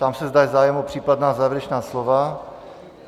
Ptám se, zda je zájem o případná závěrečná slova.